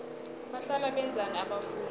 bahlala benzani abafundi